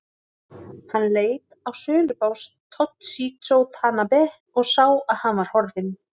Hann leit á sölubás Toshizo Tanabe og sá að hann var horfinn.